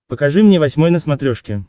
покажи мне восьмой на смотрешке